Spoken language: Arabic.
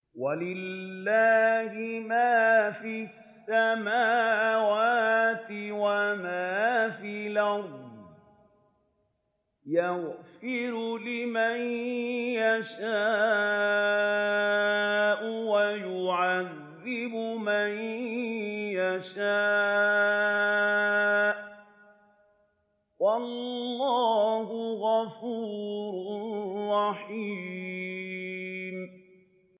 وَلِلَّهِ مَا فِي السَّمَاوَاتِ وَمَا فِي الْأَرْضِ ۚ يَغْفِرُ لِمَن يَشَاءُ وَيُعَذِّبُ مَن يَشَاءُ ۚ وَاللَّهُ غَفُورٌ رَّحِيمٌ